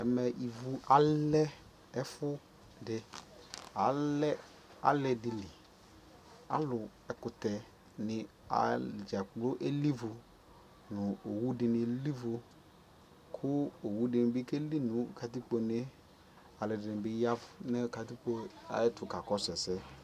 Ɛmɛ ivu alɛ ɛfu dι Alɛ alidi li Alʋ ɛkʋtɛ dini adzakplo eli ivu nʋ owudini li ivu kʋ owu di ni keli nʋ katikpone yɛ Alʋɔdini bi ya nʋ katikpo ayʋɛtu kakɔsu ɛsɛ